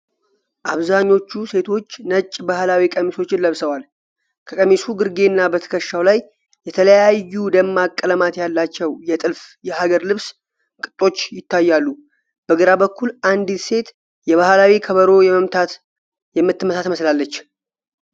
አብዛኞቹ ሴቶች ነጭ ባህላዊ ቀሚሶችን ለብሰዋል፤ ከቀሚሱ ግርጌና በትከሻቸው ላይ የተለያዩ ደማቅ ቀለማት ያላቸው የጥልፍ (የሀገር ልብስ) ቅጦች ይታያሉ። በግራ በኩል አንዲት ሴት የባህላዊ ከበሮ የምትመታ ትመስላለች።